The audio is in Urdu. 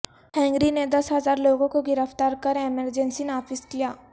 ہنگری نے دس ہزار لوگوں کو گرفتار کر ایمرجنسی نافذ کیا